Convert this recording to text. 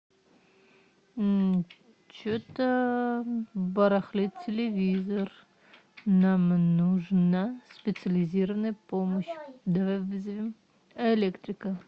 что то барахлит телевизор нам нужна специализированная помощь давай вызовем электрика